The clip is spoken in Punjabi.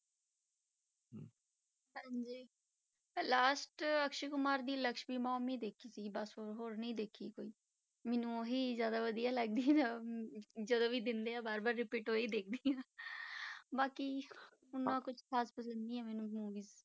Last ਅਕਸ਼ੇ ਕੁਮਾਰ ਦੀ ਲਕਸ਼ਮੀ ਬੋਂਬ ਹੀ ਦੇਖੀ ਸੀ ਬਸ ਹੋਰ ਨਹੀਂ ਦੇਖੀ ਕੋਈ, ਮੈਨੂੰ ਉਹੀ ਜ਼ਿਆਦਾ ਵਧੀਆ ਲੱਗਦੀ ਆ, ਜਦੋਂ ਵੀ ਦਿੰਦੇ ਆ ਵਾਰ ਵਾਰ repeat ਉਹੀ ਦੇਖਦੀ ਹਾਂ ਬਾਕੀ ਓਨਾ ਕੁਛ ਖ਼ਾਸ ਪਸੰਦ ਨੀ ਮੈਨੂੰ movies